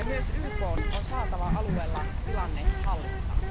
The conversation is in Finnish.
Myös YKn on saatava alueella tilanne hallintaan.